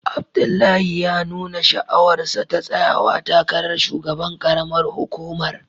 Abdullahi ya nuna sha'awarsa ta tsayawa takarar shugaban karamar hukumar